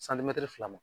fila ma